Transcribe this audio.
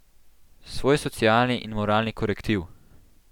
Svoj socialni in moralni korektiv!